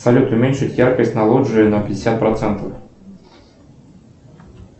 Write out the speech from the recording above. салют уменьшить яркость на лоджии на пятьдесят процентов